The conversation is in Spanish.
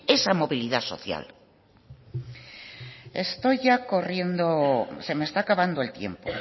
esa movilidad social estoy ya corriendo se me está acabando el tiempo